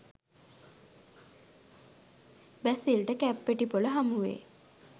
බැසිල්ට කැප්පෙටිපොළ හමුවේ